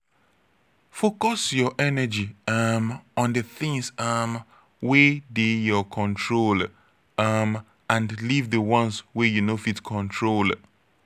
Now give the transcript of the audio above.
focus your energy um on di things um wey dey your control um and leave di ones wey you no fit control